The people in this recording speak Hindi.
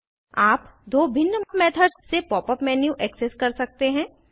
आप दो भिन्न मेथड्स से pop यूपी मेन्यू एक्सेस कर सकते हैं